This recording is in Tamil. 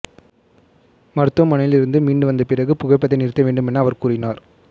மருத்துவமனையில் இருந்து மீண்டு வந்த பிறகு புகைப்பதை நிறுத்த வேண்டுமென அவர் கூறினார்